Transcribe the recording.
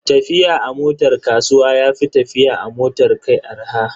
Tafiya a motar kasuwa ya fi tafiya a motar kai arha.